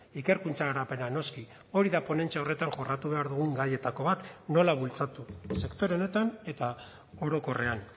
ikerkuntza garapena noski hori da ponentzia horretan jorratu behar dugun gaietako bat nola bultzatu sektore honetan eta orokorrean